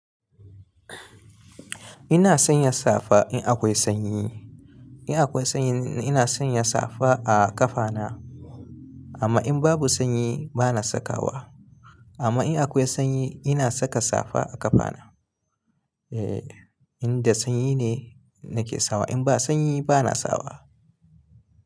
Ina sanya safa in akwai sanyi. In akwai sanyi ina sanya safa a ƙafana. Amma in babu sanyi bana sakawa. Amma in akwai sanyi ina saka safa a ƙafana. E, in da sanyi ne nake sawa. In ba sanyi bana sawa.